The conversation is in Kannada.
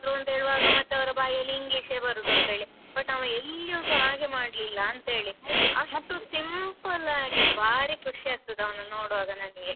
ಒಂದು ಹೇಳುವಾಗ ಮತ್ತೆ ಅವರ ಬಾಯಿ ಅಲ್ಲಿ English ಯೇ ಬರುದೆಂತೇಳಿ but ಅವನು ಎಲ್ಲಿಯುಸ ಹಾಗೆ ಮಾಡ್ಲಿಲ್ಲಾ ಅಂತೆಳಿ. ಅಷ್ಟು simple ಆಗಿ ಭಾರಿ ಖುಷಿ ಆಗ್ತದೆ ಅವನನ್ನು ನೋಡುವಾಗ ನಂಗೆ.